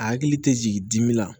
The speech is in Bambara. A hakili tɛ jigin dimi la